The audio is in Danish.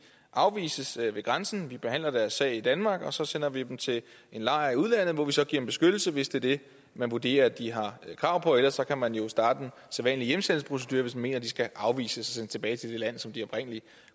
afvises ved grænsen vi behandler deres sag i danmark og så sender vi dem til en lejr i udlandet hvor vi så giver dem beskyttelse hvis det er det man vurderer de har krav på ellers kan man jo starte den sædvanlige hjemsendelsesprocedure hvis man mener de skal afvises og sendes tilbage til det land som de oprindelig